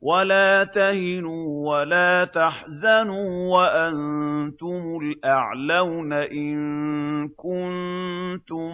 وَلَا تَهِنُوا وَلَا تَحْزَنُوا وَأَنتُمُ الْأَعْلَوْنَ إِن كُنتُم